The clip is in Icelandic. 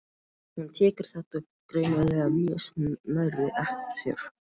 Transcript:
Hún tekur þetta greinilega mjög nærri sér.